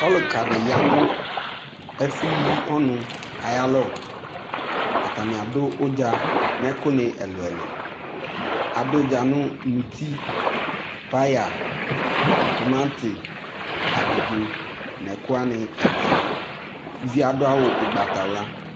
Ɔluka de ya no ɛfo yi ɔnu aya lɔ Atame ado udza no ɛku ne ɛluɛluAdo udza no muti, paya, tomante, abidzo no ɛku wane ɛluɛlu Uviɛ ado awu ugbatawla